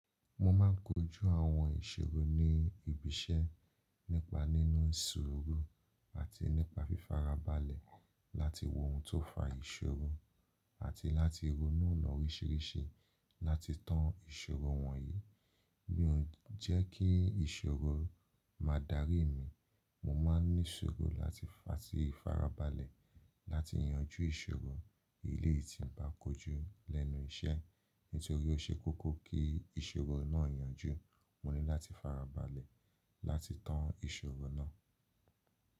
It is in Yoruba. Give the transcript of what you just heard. Mo ma ń kojú àwọn ìṣòro ní ibi iṣẹ́ nípa nínu ṣuuru àti nípa fífara balẹ̀ láti wo ohun tó fa ìṣòro àti láti ronú ọ̀nà oríṣiríṣi láti tán ìṣòro wọ̀nyí. Mí o n jẹ́ kí ìṣòro máa dárí mi, mo ma n ní ṣuuru láti atí fara balẹ̀ láti yanjú ìṣòro eleyi tí mo bá kojú lẹ́nu iṣẹ́. Nítorí ó ṣe kókó kí ìṣòro náà yanjú, mo ní láti farabalẹ̀ láti tán ìṣòro náà.